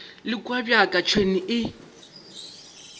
le kua bjaka tšhwene e